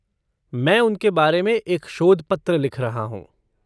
मैं उनके बारे में एक शोध पत्र लिख रहा हूँ।